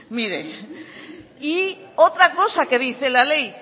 mire y otra cosa que dice la ley